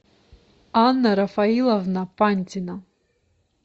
анна рафаиловна пантина